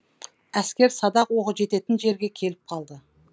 әскер садақ оғы жететін жерге келіп қалды